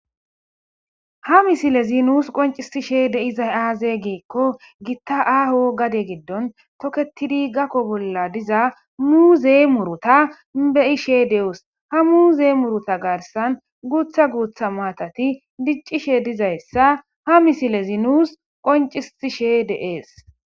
ha misile zinuus qoncisishe deiza aaze geekko gitta aaho gade giddon toketidi gakko bolla diza mu zee murota beyishe deus ha mu zeemurota garsan guutha guutha maatati diccishe dizayssa ha misile zinuus qoncisishe deees